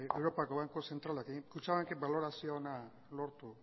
europako banku zentralak kutxabankek balorazio ona lortu